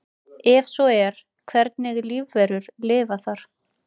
Ef svo er hvernig lífverur lifa þar?